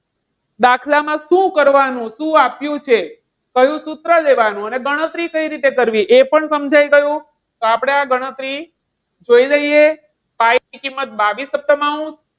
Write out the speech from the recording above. દાખલામાં શું કરવાનું? શું આપ્યું છે? કયું સૂત્ર લેવાનું અને ગણતરી કઈ રીતે કરવી એ પણ સમજાઈ ગયું. તો આપણે આ ગણતરી જોઈ લઈએ pi ની કિંમત બાવીસ સપ્તમાઉન્સ.